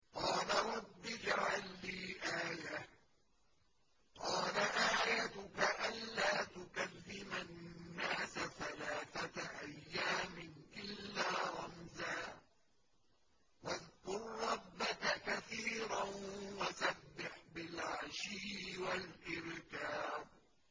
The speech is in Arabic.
قَالَ رَبِّ اجْعَل لِّي آيَةً ۖ قَالَ آيَتُكَ أَلَّا تُكَلِّمَ النَّاسَ ثَلَاثَةَ أَيَّامٍ إِلَّا رَمْزًا ۗ وَاذْكُر رَّبَّكَ كَثِيرًا وَسَبِّحْ بِالْعَشِيِّ وَالْإِبْكَارِ